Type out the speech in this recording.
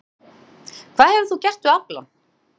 Páll: Hvað hefur þú gert við aflann?